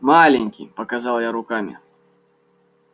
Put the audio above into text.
маленький показал я руками